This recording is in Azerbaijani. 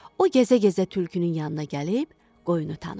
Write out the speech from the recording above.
O gəzə-gəzə tülkünün yanına gəlib qoyunu tanıdı.